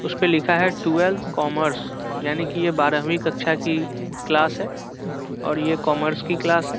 उसपे लिखा है ट्वेल्व कॉमर्स यानी की ये बारहवीं कक्षा की क्लास है और ये कॉमर्स की क्लास है ।